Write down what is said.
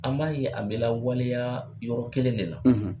An b'a ye a bɛ lawaleya yɔrɔ kelen de la.